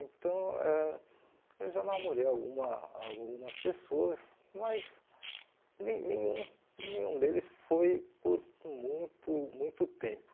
Então, ãh eu já namorei alguma algumas pessoas, mas nem nenhum nenhum deles foi por muito muito tempo.